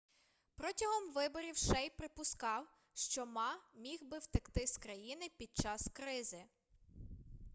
протягом виборів шей припускав що ма міг би втекти з країни під час кризи